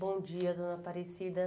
Bom dia, dona Aparecida.